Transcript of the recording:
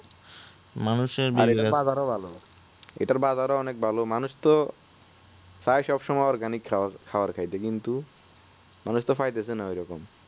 বাজার ও ভালো এটার বাজার ও অনেক ভালো মানুষ তো চায় সবসময় organic খাবার খাই কিন্তু মানুষ তো পাইতেছে না ঐরকম